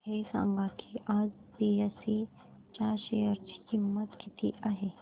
हे सांगा की आज बीएसई च्या शेअर ची किंमत किती आहे